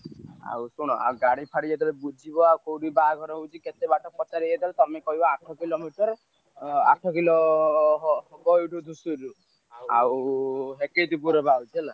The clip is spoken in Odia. ଆଉ ଶୁଣ ଆଉ ଗାଡି ଫାଡି ଯେତବେଳେ ବୁଝିବ ଆଉ କୋଉଠି ବାହାଘର ହଉଛି କେତେବାଟ ପଚାରିବେ ଯେତେବେଳେ ତମେ କହିବ ଆଠ କିଲୋମିଟର। ଅଁ ଆଠ କିଲୋ ହବ ଏଇ ଧୂସୁରୀରୁ ଆଉ ହେକେଇତିପୁରରେ ବାହାହଉଛି ହେଲା।